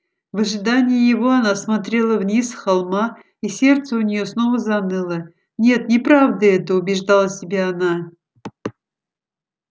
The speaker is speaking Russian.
в ожидании его она смотрела вниз с холма и сердце у нее снова заныло нет неправда это убеждала себя она